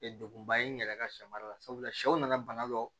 Degunba ye n yɛrɛ ka sɛ mara la sabula sɛw nana bana dɔ